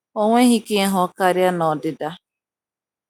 O nweghị ike ịhụ karịa na-odida